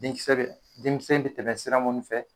Den kisɛ be den kisɛ in be tɛmɛ sira mun fɛ